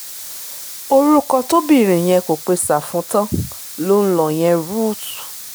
orúkọ tóbìnrin yẹn kò pe sáfù tán ló ń lò yẹn rúùtù